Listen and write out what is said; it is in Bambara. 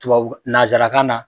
Tuwawura nazarakan na